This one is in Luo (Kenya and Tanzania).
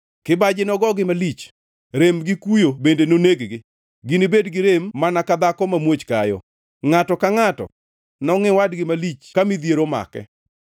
Kibaji nogogi malich, rem gi kuyo bende noneg-gi; ginibed gi rem mana ka dhako mamuoch kayo. Ngʼato ka ngʼato nongʼi wadgi malich ka midhiero omako.